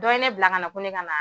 Dɔ ye ne bila ka na ko ne ka na